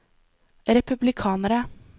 republikanere